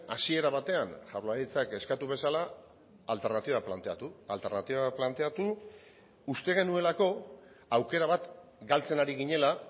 hasiera batean jaurlaritzak eskatu bezala alternatiba planteatu alternatiba planteatu uste genuelako aukera bat galtzen ari ginela